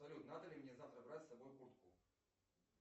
салют надо ли мне завтра брать с собой куртку